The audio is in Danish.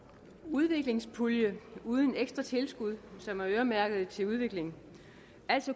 udviklingspulje uden ekstra tilskud som er øremærket til udvikling